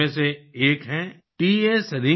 इन्हीं में से एक हैं टी एस रिंगफामी योंग tएस